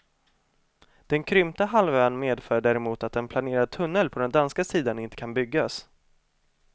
Den krympta halvön medför däremot att en planerad tunnel på den danska sidan inte kan byggas.